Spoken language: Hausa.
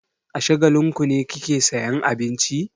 A Shagalinku ne kike sayan abinci?